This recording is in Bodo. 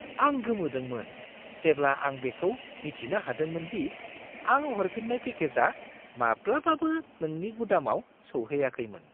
आं गोमोदोंमोन जेब्ला आं बेखौ मिथिनो हादोंमोन दि आं हरफिन्नाय पेकेजआ माब्लाबाबो नोंनि गुदामाव सौहैयाखैमोन!